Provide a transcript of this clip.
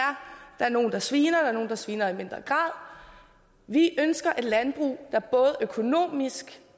der er nogle der sviner der er nogle der sviner i mindre grad vi ønsker et landbrug der både økonomisk